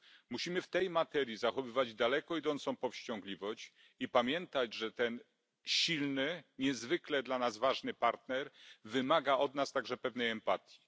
Musimy w tej materii zachowywać daleko idącą powściągliwość i pamiętać, że ten silny, niezwykle dla nas ważny partner, wymaga od nas także pewnej empatii.